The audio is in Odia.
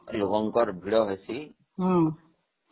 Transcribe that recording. ଶିବଙ୍କର ପ୍ରିୟ ତିଥି